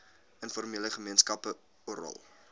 informele gemeenskappe oral